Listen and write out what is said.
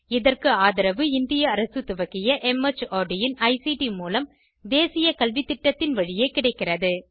இதற்கு ஆதரவு இந்திய அரசு துவக்கிய மார்ட் இன் ஐசிடி மூலம் தேசிய கல்வித்திட்டத்தின் வழியே கிடைக்கிறது